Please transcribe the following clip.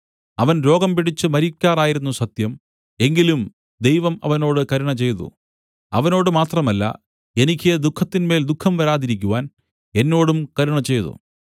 അവൻ രോഗംപിടിച്ച് മരിക്കാറായിരുന്നു സത്യം എങ്കിലും ദൈവം അവനോട് കരുണചെയ്തു അവനോട് മാത്രമല്ല എനിക്ക് ദുഃഖത്തിന്മേൽ ദുഃഖം വരാതിരിക്കുവാൻ എന്നോടും കരുണചെയ്തു